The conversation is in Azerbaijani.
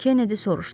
Kennedi soruşdu.